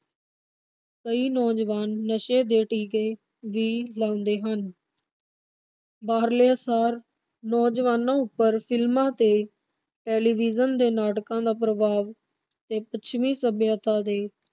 ਕਈ ਨੌਜਵਾਨ ਨਸ਼ੇ ਦੇ ਟੀਕੇ ਵੀ ਲਾਉਂਦ ਹਨ ਬਾਹਰਲਿਆਂ ਸਾਲ ਕਈ ਨੌਜਵਾਨਾਂ ਉਪਰ ਫਿਲਮਾਂ ਅਤੇ ਟੈਲੀਵਿਜ਼ਨ ਦੇ ਨਾਟਕਾਂ ਦਾ ਪ੍ਰਭਾਵ ਤੇ ਪੱਛਮੀ ਸੱਭਿਅਤਾ ਦੇ